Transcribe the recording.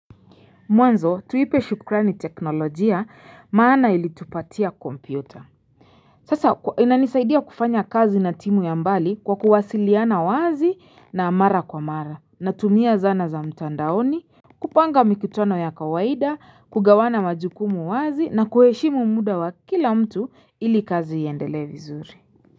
Mwanzo tuipe shukrani teknolojia maana ili tupatia kompyuta Sasa inanisaidia kufanya kazi na timu ya mbali kwa kuwasiliana wazi na mara kwa mara natumia zana za mtandaoni kupanga mikutano ya kawaida kugawana majukumu wazi na kuheshimu muda wa kila mtu ili kazi iyendele vizuri.